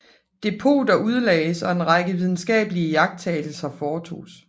Depoter udlagdes og en lang række videnskabelige iagttagelser foretoges